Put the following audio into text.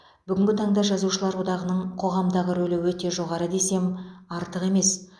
бүгінгі таңда жазушылар одағының қоғамдағы рөлі өте жоғары десем артық емес